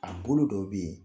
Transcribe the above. A bolo dɔw be yen